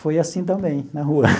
Foi assim também, na rua.